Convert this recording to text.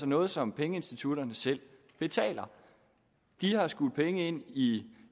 noget som pengeinstitutterne selv betaler de har skudt penge ind i